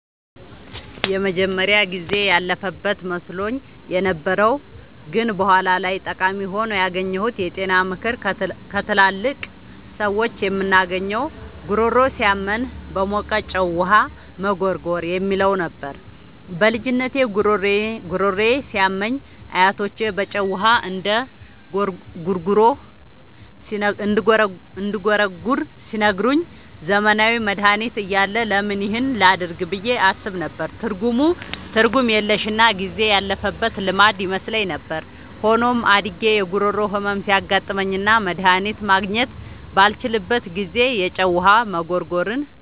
የመጀመሪያው ጊዜ ያለፈበት መስሎኝ የነበረው ግን በኋላ ላይ ጠቃሚ ሆኖ ያገኘሁት የጤና ምክር ከትላልቅ ሰዎች የምናገኘው "ጉሮሮ ሲያመን በሞቀ ጨው ውሃ መጉርጎር" የሚለው ነበር። በልጅነቴ ጉሮሮዬ ሲያመኝ አያቶቼ በጨው ውሃ እንድጉርጎር ሲነግሩኝ፣ ዘመናዊ መድሃኒት እያለ ለምን ይህን ላደርግ ብዬ አስብ ነበር። ትርጉም የለሽና ጊዜ ያለፈበት ልማድ ይመስለኝ ነበር። ሆኖም፣ አድጌ የጉሮሮ ህመም ሲያጋጥመኝና መድሃኒት ማግኘት ባልችልበት ጊዜ፣ የጨው ውሃ መጉርጎርን